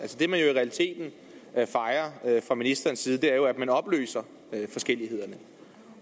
det man i realiteten fra ministerens side er jo at man opløser forskellighederne